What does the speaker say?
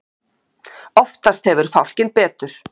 oftast hefur fálkinn betur